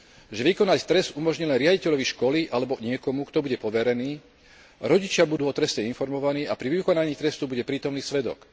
že vykonať trest umožní len riaditeľovi školy alebo niekomu, kto bude poverený, a že rodičia budú o treste informovaní a pri vykonaní trestu bude prítomný svedok.